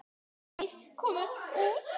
Þeir komu út.